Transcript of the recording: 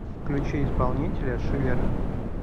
включи исполнителя шиллер